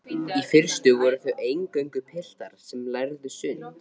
Í fyrstu voru það eingöngu piltar sem lærðu sund.